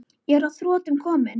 Ég er að þrotum kominn.